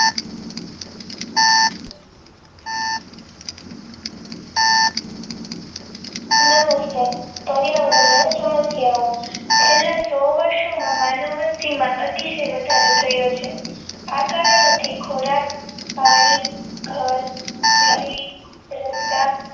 નમસ્કાર પર્યાવરણીય સમસ્યાઓ છેલ્લા સો વર્ષ માં માનવ વસ્તી માં અતિશય વધારો થયો છે આ કારણોથી ખોરાક પાણી ઘર વીજળી રસ્તા